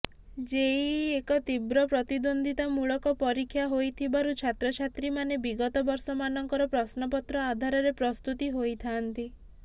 JEE ଏକ ତୀବ୍ର ପ୍ରତିଦ୍ୱନ୍ଦ୍ୱିତାମୂଳକ ପରୀକ୍ଷା ହୋଇଥିବାରୁ ଛାତ୍ରଛାତ୍ରୀମାନେ ବିଗତ ବର୍ଷମାନଙ୍କର ପ୍ରଶ୍ନପତ୍ର ଆଧାରରେ ପ୍ରସ୍ତୁତି ହୋଇଥାଆନ୍ତି